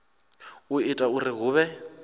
u ita uri hu vhe